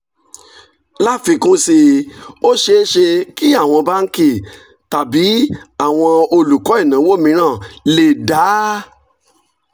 láfikún sí i ó ṣeé ṣe kí àwọn báńkì tàbí àwọn olùkọ́ ìnáwó mìíràn lè dá